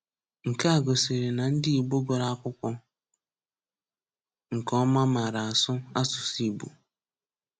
Nke a gòsìrì na ndị Ìgbò gụ̀rụ̀ akwùkwó nke ọma màrà asụ̀ asụ̀sụ́ Ìgbò.